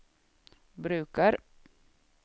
brukar